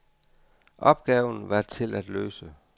Opgaven var til at løse.